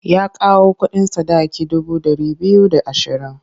Ya kawo kuɗin sadaki dubu ɗari biyu da ashirin.